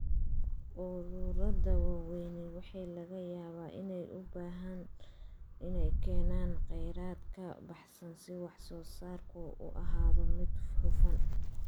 Ururada waaweyni waxa laga yaabaa inay u baahdaan inay keenaan khayraad ka baxsan si wax-soo-saarku u ahaado mid hufan.